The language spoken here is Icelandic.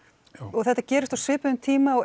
þetta gerist á svipuðum tíma og